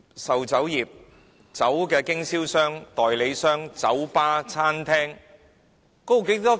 售酒業、酒類產品經銷商、代理商、酒吧、餐廳......